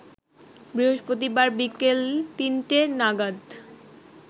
বৃহস্পতিবার বিকেল তিনটে নাগাদ